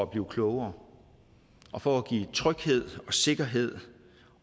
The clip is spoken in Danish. blive klogere og for at give tryghed sikkerhed